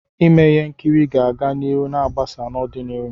Ime ihe nkiri ga-aga n'ihu ma gbasaa n'ọdịnihu.